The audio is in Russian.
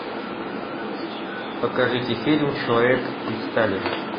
покажите фильм человек из стали